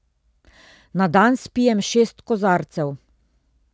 Na dan spijem šest kozarcev.